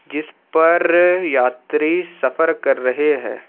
जिस पर यात्री सफर कर रहे हैं।